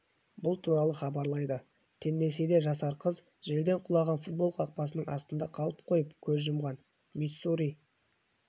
бұл туралы хабарлайды теннессиде жасар қыз желден құлаған футбол қақпасының астында қалып қойып көз жұмған миссури